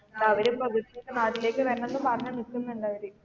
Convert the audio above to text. അവര് ഇപ്പോ നാട്ടിലേക്ക് വരണമെന്ന് പറഞ്ഞു നിൽക്കുന്നുണ്ടാവര്.